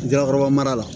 Jakakɔrɔba la